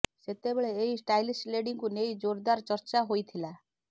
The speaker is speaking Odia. ସେତେବେଳେ ଏହି ଷ୍ଟାଇଲିସ୍ ଲେଡିଙ୍କୁ ନେଇ ଜୋରଦାର ଚର୍ଚ୍ଚା ହୋଇଥିଲା